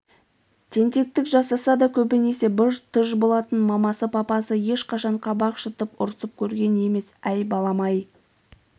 тентектік жасаса да көбінесе быж-тыж болатын мамасы папасы ешқашан қабақ шытып ұрсып көрген емес әй балам-ай